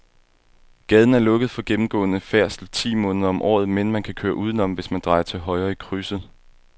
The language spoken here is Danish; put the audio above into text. Gaden er lukket for gennemgående færdsel ti måneder om året, men man kan køre udenom, hvis man drejer til højre i krydset.